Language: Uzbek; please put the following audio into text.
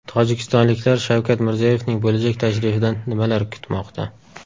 Tojikistonliklar Shavkat Mirziyoyevning bo‘lajak tashrifidan nimalar kutmoqda?.